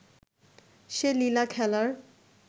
সে লীলা-খেলার